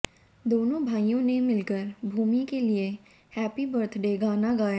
दोनों भाइयों ने मिलकर भूमि के लिए हैप्पी बर्थडे गाना गाया